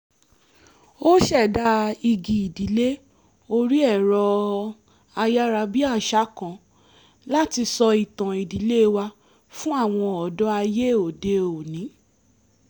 a ṣẹ̀dá igi ìdílé orí ẹ̀rọ-ayárabíàṣá kan láti sọ ìtàn ìdílé wa fún àwọn ọ̀dọ́ ayé òde-òní